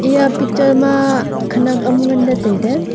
eya picture ma khenak am ngan ley tailey.